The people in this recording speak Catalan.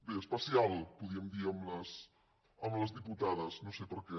bé especial podríem dir amb les diputades no sé per què